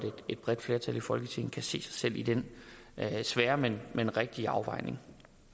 et bredt flertal i folketinget kan se sig selv i den svære men men rigtige afvejning